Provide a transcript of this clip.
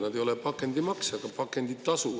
Nad ei ole pakendimaks, vaid pakenditasu.